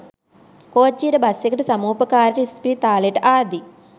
කෝච්චියට bus එකට සමුපකාරේට ඉස්පිරිතාලෙට ආදී